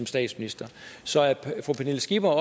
statsminister så er fru pernille skipper